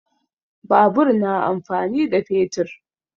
Babur na amfani da fetur